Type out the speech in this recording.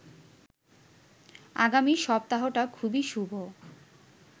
আগামী সপ্তাহটা খুবই শুভ